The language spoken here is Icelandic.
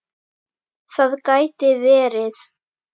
Það gæti verið.